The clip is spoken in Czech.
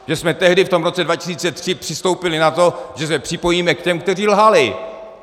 Že jsme tehdy v tom roce 2003 přistoupili na to, že se připojíme k těm, kteří lhali!